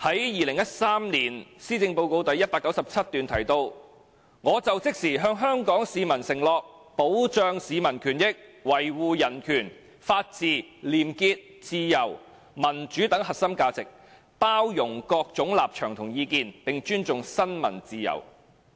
2013年施政報告的第197段提到，"我就職時向香港市民承諾，保障市民權益，維護人權、法治、廉潔、自由、民主等核心價值，包容各種立場和意見，並尊重新聞自由。